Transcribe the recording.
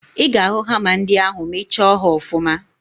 Ị ga-ahụ hama ndị ahụ ma ị chọọ ha ọfụma